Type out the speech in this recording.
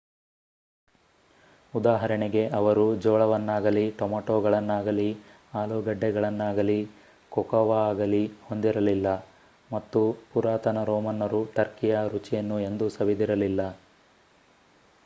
ಉದಾಹರಣೆಗೆ ಅವರು ಜೋಳವನ್ನಾಗಲೀ ಟೊಮಾಟೋಗಳನ್ನಾಗಲೀ ಆಲೂಗಡ್ಡೆಗಳನ್ನಾಗಲೀ ಕೊಕೊವಾ ಆಗಲೀ ಹೊಂದಿರಲಿಲ್ಲ ಮತ್ತು ಪುರಾತನ ರೋಮನ್ನರು ಟರ್ಕಿಯ ರುಚಿಯನ್ನು ಎಂದೂ ಸವಿದಿರಲಿಲ್ಲ